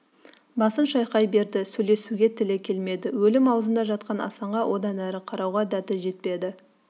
басын шайқай берді сөйлесуге тілі келмеді өлім аузында жатқан асанға одан әрі қарауға дәті жетпеді